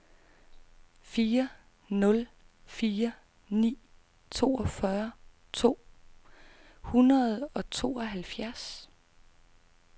fire nul fire ni toogfyrre to hundrede og tooghalvfjerds